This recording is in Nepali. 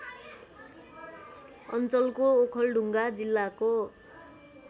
अञ्चलको ओखलढुङ्गा जिल्लाको